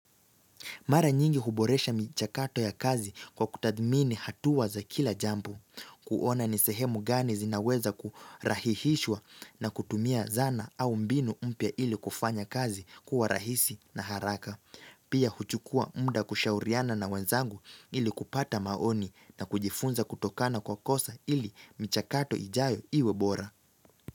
Mara nyingi huboresha michakato ya kazi kwa kutadmini hatuwa za kila jambu, kuona nisehemu gani zinaweza kurahihishwa na kutumia zana au mbinu umpya ili kufanya kazi kuwa rahisi na haraka. Pia huchukua mda kushauriana na wenzangu ili kupata maoni na kujifunza kutokana kwa kosa ili michakato ijayo iwebora.